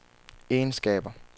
egenskaber